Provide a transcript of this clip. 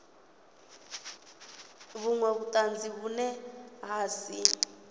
vhunwe vhutanzi vhune ha si